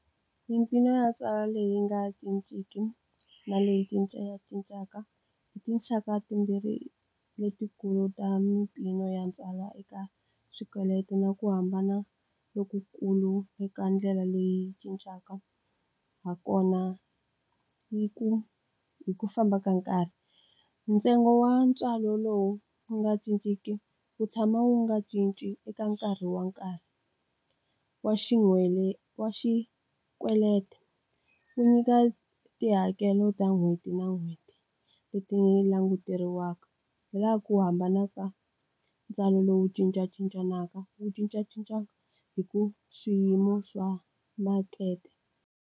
Mimpfuno ya ntswalo leyi nga cinciki na leyi cincacincaka, i tinxaka timbirhi letikulu ta mimpimo ya ntswalo eka swikweleti na ku hambana lokukulu eka ndlela leyi cincaka ha kona hi ku famba ka nkarhi. Ntsengo wa ntswalo lowu wu nga cinciki wu tshama wu nga cinci eka nkarhi wa nkarhi wa wa xikweleti. Wu nyika tihakelo ta n'hweti na n'hweti leti languteriwaka. Hi laha ku hambana ka ntswalo lowu cincacincanaka, wu cincacinca hi ku swiyimo swa makete.